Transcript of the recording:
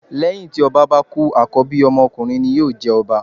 Lẹ́hìn tí ọba bá kú àkọ́bí ọmọ ọkunrin ni yóò jẹ ọba.